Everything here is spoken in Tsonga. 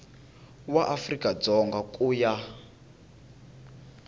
wa afrika dzonga ku ya